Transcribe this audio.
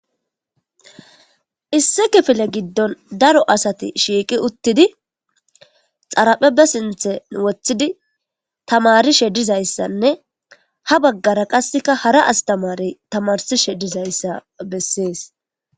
isse kifile giddon daro asati shiiqi uttidi xaraphe be sinthen woththidi tamarishe dizayssanne ha baggara qasseka hara astamare tamarsishe dizayssa bessees